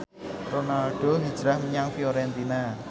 Ronaldo hijrah menyang Fiorentina